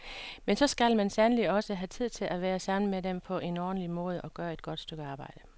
Men så skal man sandelig også have tid til at være sammen med dem på en ordentlig måde, at gøre et godt stykke arbejde.